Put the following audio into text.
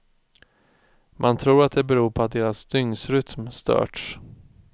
Man tror att det beror på att deras dygnsrytm störts.